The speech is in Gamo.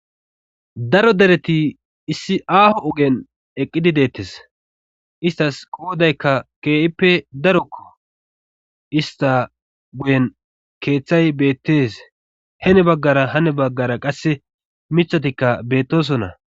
daro dereti issi aaho ogen eqqidi deettes istas qoodaykka kee7ippe daroko ista guyen keeththay beettes hene baggara hane baggara qasse mithatikka beettosonna